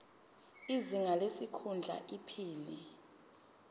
izinga lesikhundla iphini